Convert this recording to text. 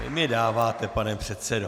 Vy mi dáváte, pane předsedo.